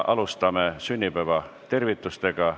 Alustame sünnipäevatervitustega.